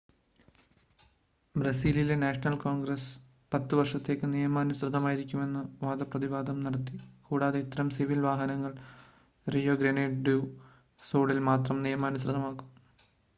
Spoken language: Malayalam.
ബ്രസീലിലെ നാഷണൽ കോൺഗ്രസ്സ് 10 വർഷത്തേക്ക് നിയമാനുസൃതമായിരിക്കണമെന്ന് വാദപ്രതിവാദം നടത്തി കൂടാതെ ഇത്തരം സിവിൽ വിവാഹങ്ങൾ റിയോ ഗ്രനേഡ് ഡു സുളിൽ മാത്രം നിയമാനുസൃതമായിരിക്കും